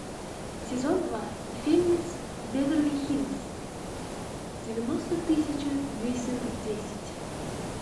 сезон два фильмец беверли хиллз девяносто тысяча двести десять